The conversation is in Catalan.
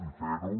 i fer ho